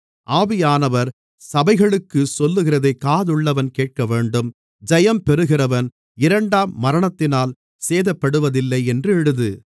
ஆவியானவர் சபைகளுக்குச் சொல்லுகிறதைக் காதுள்ளவன் கேட்கவேண்டும் ஜெயம் பெறுகிறவன் இரண்டாம் மரணத்தினால் சேதப்படுவதில்லை என்று எழுது